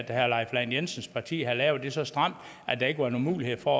herre leif lahn jensens parti havde lavet det så stramt at der ikke var nogen mulighed for